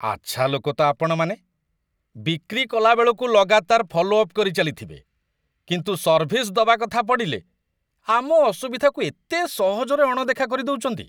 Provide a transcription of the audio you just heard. ଆଚ୍ଛା ଲୋକ ତ ଆପଣମାନେ, ବିକ୍ରି କଲା ବେଳକୁ ଲଗାତାର ଫଲୋ ଅପ୍ କରିଚାଲିଥିବେ, କିନ୍ତୁ ସର୍ଭିସ୍ ଦବା କଥା ପଡ଼ିଲେ, ଆମ ଅସୁବିଧାକୁ ଏତେ ସହଜରେ ଅଣଦେଖା କରିଦଉଚନ୍ତି!